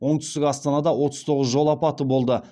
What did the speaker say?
оңтүстік астанада отыз тоғыз жол апаты болды